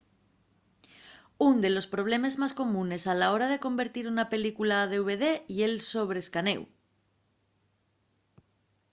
ún de los problemes más comunes a la hora de convertir una película a dvd ye’l sobre-escanéu